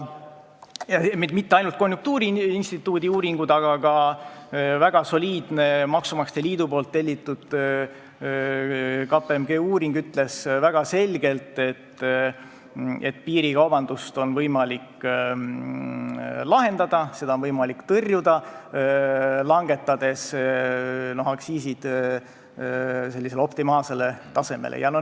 Mitte ainult konjunktuuriinstituudi uuringud, aga ka väga soliidne, maksumaksjate liidu tellitud ja KPMG tehtud uuring ütles väga selgelt, et piirikaubanduse probleemi on võimalik lahendada, seda on võimalik tõrjuda, langetades aktsiisid optimaalsele tasemele.